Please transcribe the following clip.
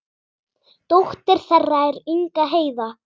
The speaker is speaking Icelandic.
Dóttir þeirra er Inga Heiða.